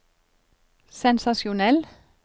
sensasjonell